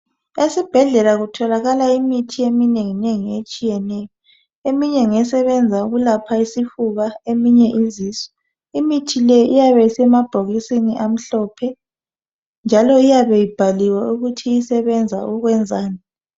Esibhedlela kutholakala imithi eminenginengi etshiyetshiyeneyo. Eminye ngesebenza ukwelapha isifuba, eminye izisu. Imithi le iyabe isemabhokisini amhlophe njalo iyabe ibhaliwe ukuthi isebenza ukwenzani.